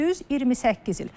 Düz 28 il.